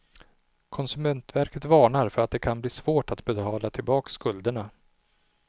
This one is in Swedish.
Konsumentverket varnar för att det kan bli svårt att betala tillbaka skulderna.